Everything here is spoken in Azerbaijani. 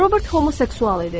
Robert homoseksual idi.